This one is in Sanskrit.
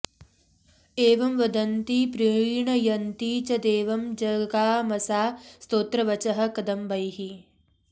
एवं वदन्ती प्रीणयन्ती च देवं जगामसा स्तोत्रवचः कदम्बैः